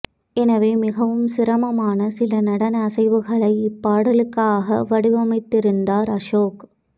எனவே மிகவும் சிரமமான சில நடன அசைவுகளை இப்பாடலுக்காக வடிவமைத்திருந்தார் அசோக்